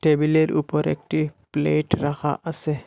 টেবিলের ওপর একটি প্লেট রাখা আসে।